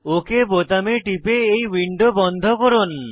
okay বোতামে টিপে এই উইন্ডো বন্ধ করুন